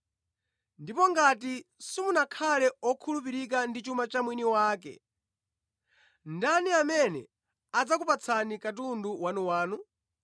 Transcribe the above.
Ndipo ngati simunakhale okhulupirika ndi chuma cha mwini wake, ndani amene adzakupatsani katundu wanuwanu?